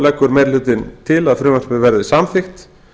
leggur meiri hlutinn til að frumvarpið verði samþykkt